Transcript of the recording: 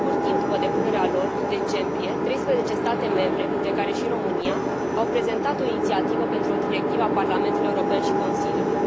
La scurt timp după depunerea lor în decembrie, 13 state membre, printre care și România, au prezentat o inițiativă pentru o directivă a Parlamentului European și Consiliului.